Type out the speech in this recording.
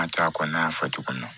An tora a kɔnɔ an y'a fɔ cogo min na